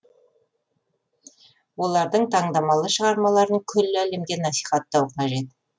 олардың таңдамалы шығармаларын күллі әлемге насихаттау қажет